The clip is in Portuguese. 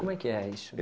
Como é que é isso?